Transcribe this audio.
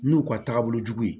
N'u ka taabolo jugu ye